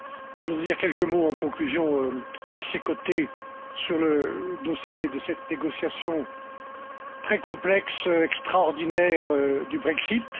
Je voudrais dire quelques mots en conclusion à ses côtés sur le dossier de cette négociation très complexe, extraordinaire du Brexit.